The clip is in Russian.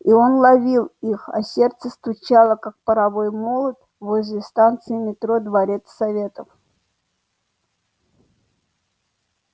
и он ловил их а сердце стучало как паровой молот возле станции метро дворец советов